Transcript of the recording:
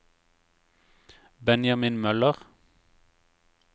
Benjamin Møller